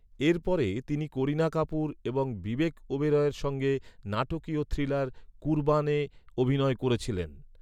এরপরে তিনি করিনা কাপুর এবং বিবেক ওবেরয়ের সঙ্গে, নাটকীয় থ্রিলার ‘কুরবানে’ অভিনয় করেছিলেন।